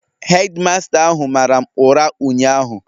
Hedi masta ahụ mara m ụra ụnyahụ